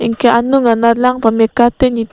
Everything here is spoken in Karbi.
anke anung anat lang pameka te ne--